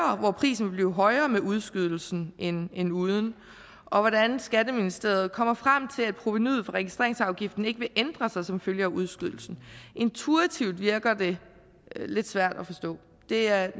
om hvor prisen vil blive højere med udskydelsen end end uden og hvordan skatteministeriet kommer frem til at provenuet fra registreringsafgiften ikke vil ændre sig som følge af udskydelsen intuitivt virker det lidt svært at forstå det er